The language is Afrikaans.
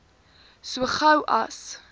so gou as